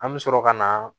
An bɛ sɔrɔ ka na